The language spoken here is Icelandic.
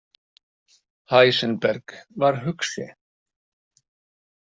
Heisenberg var hugsi.